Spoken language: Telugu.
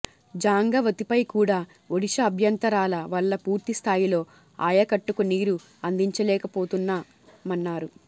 జంఝావతిపై కూడా ఒడిశా అభ్యంతరాల వల్ల పూర్తి స్థాయిలో ఆయకట్టుకు నీరు అందించలేకపోతున్నామన్నారు